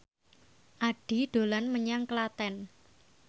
Addie dolan menyang Klaten